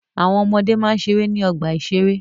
Àwọn ọmọde máa ń ṣeré ní ọgbà-ìṣeré